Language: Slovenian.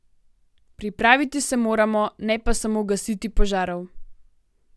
Pripraviti se moramo, ne pa samo gasiti požarov.